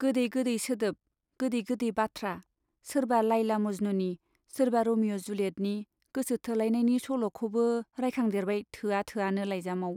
गोदै गोदै सोदोब, गोदै गोदै बाथ्रा सोरबा लाइला मज्नुनि, सोरबा रमिअ' जुलियेटनि गोसो थोलायनायनि सल'खौबो रायखांदेरबाय थोआ थोआनो लाइजामाव।